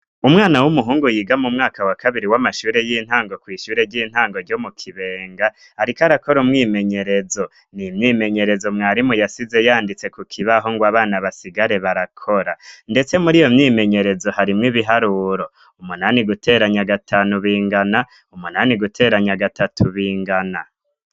Umwana w'umuhungu yiga mu mwaka wa kabiri w'amashure y'intango kw'ishure ry'intango ryo mu kibenga, ariko arakora umwimenyerezo ni imyimenyerezo mwarimu yasize yanditse ku kibaho ngo abana basigare barakora, ndetse muri iyo myimenyerezo harimwo ibiharuro umunani guteranya gatanu bingana umunani guteranya gatatu ingana.